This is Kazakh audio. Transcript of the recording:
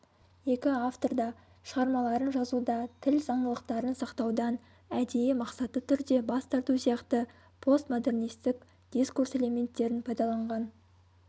екі автор да шығармаларын жазуда тіл заңдылықтарын сақтаудан әдейі мақсатты түрде бас тарту сияқты постмодернистік дискурс элементтерін пайдаланған